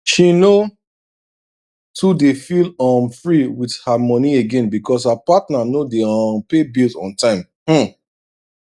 she no too dey feel um free with her money again because her partner no dey um pay bills on time um